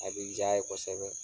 A bi ja ye kosɛbɛ